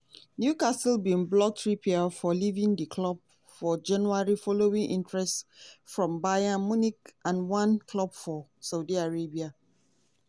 newcastle bin block trippier from leaving di club for january following interest from bayern munich and one club for saudi arabia.